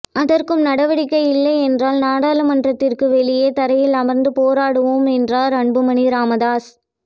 அதற்கும் நடவடிக்கை இல்லை என்றால் நாடாளுமன்றத்திற்கு வெளியே தரையில் அமர்ந்து போராடுவோம் என்றார் அன்புமணி ராமதாஸ்